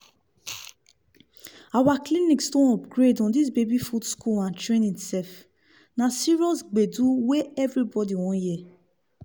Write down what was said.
our clinics don upgrade on this baby food school and training sef. na serious gbedu wey everybody wan hear.